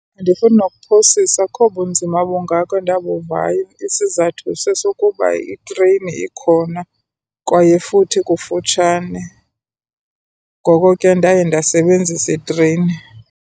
Andifuni nokuphosisa, akukho bunzima bungako endabuvayo. Isizathu sesokuba itreyini ikhona kwaye futhi ikufutshane, ngoko ke ndaye ndasebenzisa itreyini.